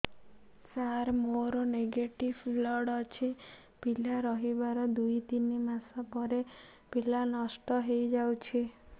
ସାର ମୋର negative blood ଅଛି ପିଲା ରହିବାର ଦୁଇ ତିନି ମାସ ପରେ ପିଲା ନଷ୍ଟ ହେଇ ଯାଉଛି